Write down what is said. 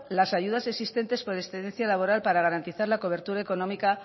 las ayudas existentes por excedencia laboral para garantizar la cobertura económica